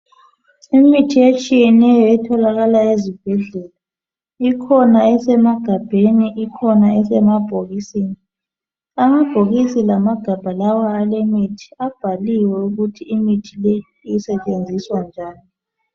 Imithi etshiyeneyo etholakala ezibhedlela ikhona esemagabheni, ikhona esemabhokisini. Amabhokisi lamagabha lawa alemithi abhaliwe ukuthi imithi leyi isetshenziswe njani.